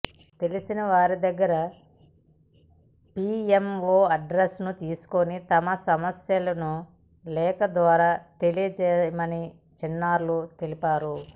తెలిసిన వారి దగ్గర పీఎంఓ అడ్రస్ తీసుకుని తమ సమస్యలను లేఖ ద్వారా తెలియజేశామని చిన్నారులు తెలిపారు